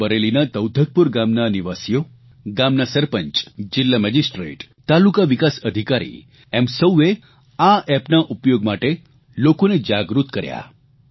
રાયબરેલીના તૌધકપુર ગામના આ નિવાસીઓ ગામના સરપંચ જીલ્લા મેજીસ્ટ્રેટ તાલુકા વિકાસ અધિકારી એમ સૌએ આ એપના ઉપયોગ માટે લોકોને જાગૃત કર્યા